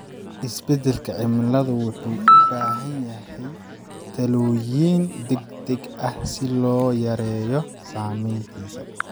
Isbedelka cimiladu wuxuu u baahan yahay tallaabooyin degdeg ah si loo yareeyo saamayntiisa.